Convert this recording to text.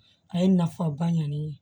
A ye nafa ba ɲɛ ne ye